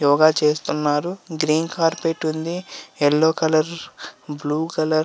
యోగ చేస్తున్నారు. Green carpet ఉంది.యెల్లో colour blue colour --